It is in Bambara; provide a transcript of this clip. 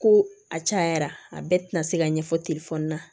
Ko a cayara a bɛɛ ti na se ka ɲɛfɔ na